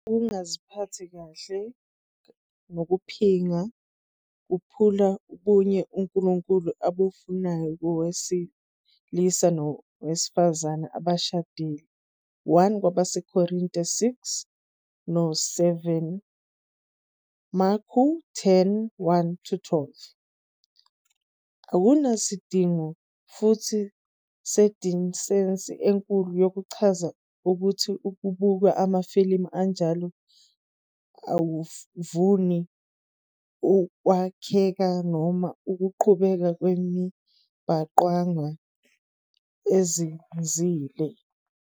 Ukungaziphathi kahle nokuphinga kuphula ubunye uNkulunkulu abufunayo kowesilisa nowesifazane abashadile, 1 KwabaseKorinte 6 no 7, Marku 10- 1-12. Akunasidingo futhi sedisensi enkulu yokuchaza ukuthi ukubuka amafilimu anjalo akuvuni ukwakheka noma ukuqhubeka kwemibhangqwana ezinzile.